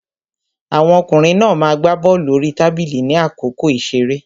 Àwọn ọkùnrin náà ma gbá bọ́lù orí tábìlì ní àkókò ìṣeré.